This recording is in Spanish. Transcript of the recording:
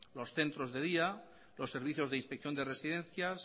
los centros de día los servicios de inspección de residencias